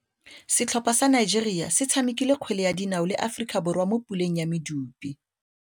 Setlhopha sa Nigeria se tshamekile kgwele ya dinaô le Aforika Borwa mo puleng ya medupe.